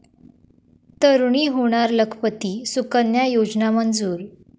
तरूणी होणार लखपती, सुकन्या योजना मंजूर